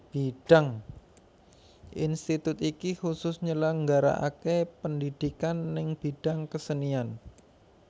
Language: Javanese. Institut iki kusus nyelenggara ake pendhidhikan neng bidang kesenian